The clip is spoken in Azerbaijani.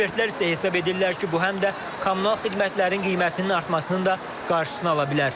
Ekspertlər isə hesab edirlər ki, bu həm də kommunal xidmətlərin qiymətinin artmasının da qarşısını ala bilər.